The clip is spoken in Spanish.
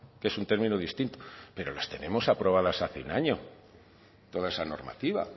que es un término distinto pero las tenemos aprobadas hace un año toda esa normativa